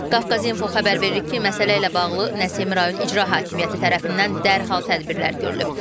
Qafqazinfo xəbər verir ki, məsələ ilə bağlı Nəsimi rayon İcra Hakimiyyəti tərəfindən dərhal tədbirlər görülüb.